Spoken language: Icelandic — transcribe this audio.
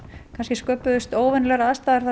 sköpuðust óvenjulegar aðstæður þar